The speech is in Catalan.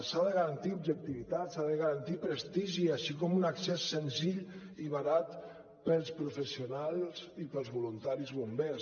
s’ha de garantir objectivitat s’ha de garantir prestigi així com un accés senzill i barat per als professionals i per als voluntaris bombers